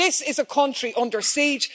This is a country under siege.